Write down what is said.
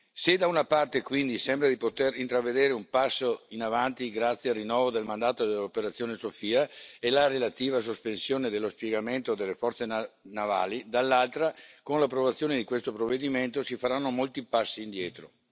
Se da una parte, quindi, sembra di poter intravedere un passo in avanti grazie al rinnovo del mandato dell'operazione Sophia e la relativa sospensione dello spiegamento delle forze navali, dall'altra, con l'approvazione di questo provvedimento, si faranno molti passi indietro.